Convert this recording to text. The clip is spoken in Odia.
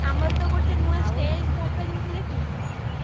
ଆମର ତ ଗୋଟେ ନୂଆ stage ଦେଖିଛୁ?